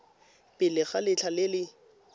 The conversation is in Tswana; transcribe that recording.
pele ga letlha le le